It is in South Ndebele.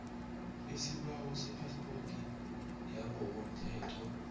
isibawo sephaspoti yangokomthetho